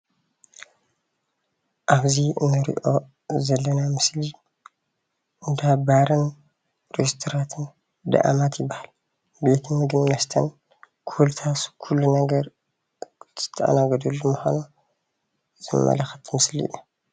ኣብዚ እንሪኦ ዘለና ምስሊ እንዳባርን ሬስቶራንትን ደኣማት ይባሃል፡፡ ቤት ምግብን መስተን ኮፊ ሃውስ ከሉ ነገር ዝተኣነገዳሉ ምኳኑ ዘመላክት ምስሊ እዩ፡፡